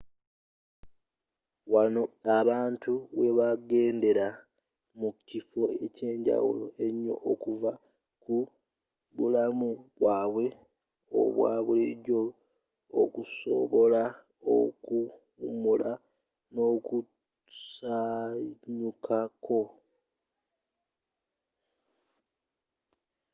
wano abantu webagendera mu kifo ekyenjawulo enyo okuva ku bulamu bwaabwe obwa bulijo okusobola okuwumula n'okusanyukako